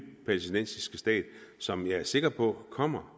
palæstinensiske stat som jeg er sikker på kommer